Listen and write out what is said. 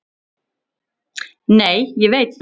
Nei, ég veit það.